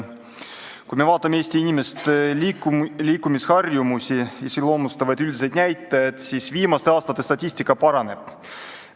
Kui me vaatame Eesti inimeste liikumisharjumusi iseloomustavaid üldiseid näitajaid, siis viimaste aastate statistika järgi asi paraneb.